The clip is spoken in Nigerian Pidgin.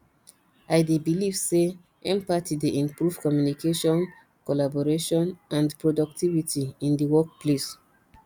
i dey believe say empathy dey improve communication collaboration and productivity in di workplace